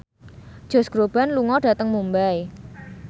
Josh Groban lunga dhateng Mumbai